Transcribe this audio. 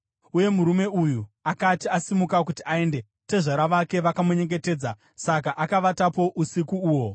Uye murume uyu akati asimuka kuti aende, tezvara vake vakamunyengetedza, saka akavatapo usiku uhwo.